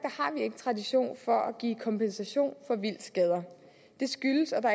ikke tradition for at give kompensation for vildtskader det skyldes at der